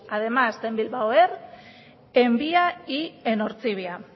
además de bilbao air en via y en ortzibia